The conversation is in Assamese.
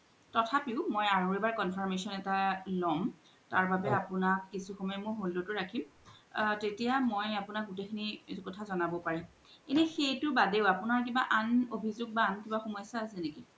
তোথাপিও মই আৰু এবাৰ confirmation এটা লম তাৰ বাবে মই কিছো সময় আপুনাক hold ত ও ৰাখিম তেতিয়া মই আপুনাক গুতেই খিনি কথা জনাব পাৰিম, এনে সেইতুৰ বাদেও আপুনাৰ কিবা আন অভিজুগ আন কিবা সমস্যা আছে নেকি